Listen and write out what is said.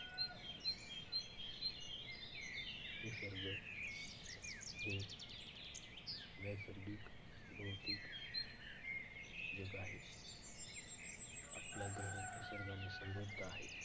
निसर्ग हे नैसर्गिक, भौतिक, जग आहे. आपला ग्रह निसर्गाने समृद्ध आहे.